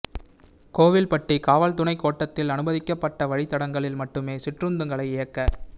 கோவில்பட்டி காவல் துணைக் கோட்டத்தில் அனுமதிக்கப்பட்ட வழித் தடங்களில் மட்டுமே சிற்றுந்துகளை இயக்க